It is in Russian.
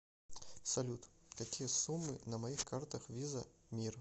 салют какие суммы на моих картах виза мир